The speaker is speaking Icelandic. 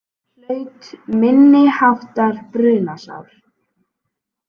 Hlaut minniháttar brunasár